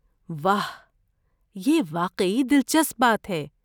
واہ! یہ واقعی دلچسپ بات ہے۔